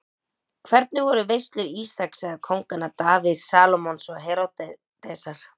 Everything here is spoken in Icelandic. Hvernig voru veislur Ísaks eða kónganna Davíðs, Salómons og Heródesar?